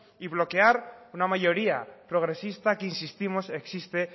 y bloquear una mayoría progresista que insistimos que existe